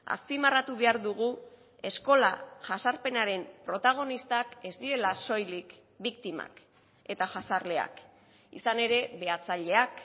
azpimarratu behar dugu eskola jazarpenaren protagonistak ez direla soilik biktimak eta jazarleak izan ere behatzaileak